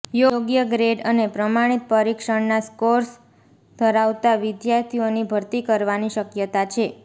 યોગ્ય ગ્રેડ અને પ્રમાણિત પરીક્ષણના સ્કોર્સ ધરાવતા વિદ્યાર્થીઓની ભરતી કરવાની શક્યતા છે